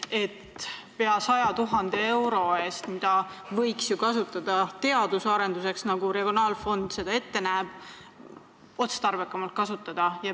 Seda pea 100 000 eurot võiks ju otstarbekamalt kasutada, näiteks teadus- ja arendustegevuseks, nagu regionaalarengu fond ette näeb.